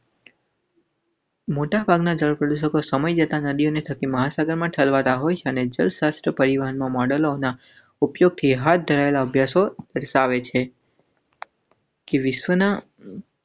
મોટા ભાગના દેશો સમય જતાં નદીઓ થકી મહાસાગરમાં ઠલવાતા હોય છે ને જ સસ્તા પરિવહન મોડલોના ઉપયોગથી હાથ ધરાયેલા અભ્યાસો દર્શાવે છે.